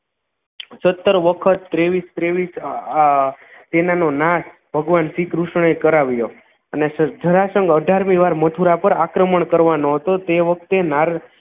સતર વખત તેવીશ તેવીશ સેનાનો નાશ ભગવાન શ્રીકૃષ્ણએ કરાવ્યો અને જરાસંઘ અઠાર મી વાર મથુરા પર આક્રમણ કરવાનો હતો તે વખતે નાર